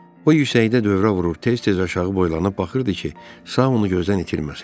O yüksəkdə dövrə vurub tez-tez aşağı boylanıb baxırdı ki, Saonu gözdən itirməsin.